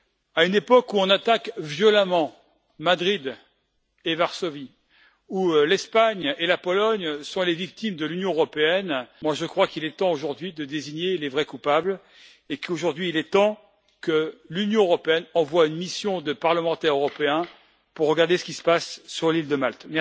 À une époque où on attaque violemment Madrid et Varsovie, où l'Espagne et la Pologne sont les victimes de l'Union européenne, je crois qu'il est temps, aujourd'hui, de désigner les vrais coupables et qu'il est temps que l'Union envoie une mission de parlementaires européens pour examiner ce qui se passe sur l'île de Malte.